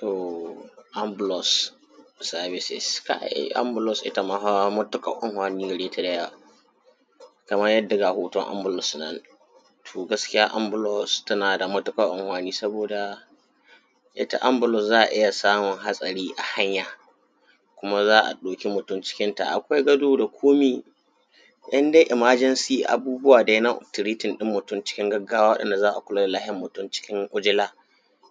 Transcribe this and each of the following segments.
To, Anbulus sabi-sa aye, Abbulus ita ma fa kaman yadda ga moton Anbulus nan fa, to, gaskiya, Anbulus na da matuƙar anfani, saboda ita Anbulus, za a iya samun hatsari a hanya, kuma za a ɗauka mutum cikin ta. Akwai gado da komai ɗan dai imajensi abuwa da na tiritin ɗin mutum, cikin gaggawa da za a kula da lafiyan mutum cikin ujiila.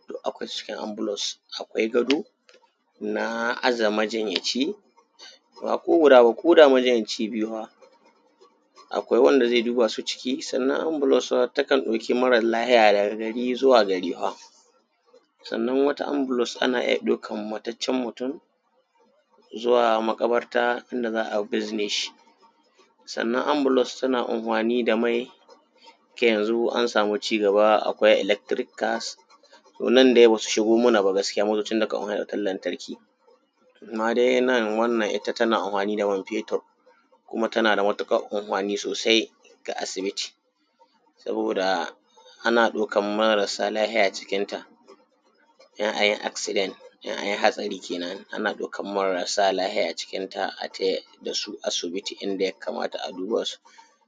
To, akwai cikin Anbulus, akwai gado na aje majinyaci bako guda ba, koda majinyace biyu ne, akwai wanda zai duba su ciki, sannan Anbulus takan ɗauki mara-lafiya daga gari zuwa gari. Sannan wata Anbulus tekan ɗauki mutaccen mutum zuwa maƙabarta, inda za a binzen shi, sannan Anbulus tana anfani da mai yanzu an samu ci giba. Akwai elektirikal, to nan dai ba su shigo mana ba, amma da nan, wannan tana anfani da man-feetir, kuma tana da matuƙar anfani. Saboda haka ya kama asibiti, saboda ana ɗaukar marasa-lafiya cikin ta, in an yi aksident, an an yi hatsari, kenan ana ɗauka marasa-lafiya cikinta a tahi da su asibiti, in an kai su inda ya kamata a duba su,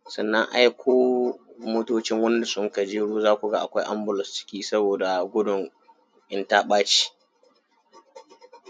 sannan a aiko motocin wanda suka jawo, za ku ga akwai Anbulus ciki, saboda gudun in ta ɓaci.